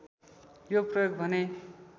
यो प्रयोग भने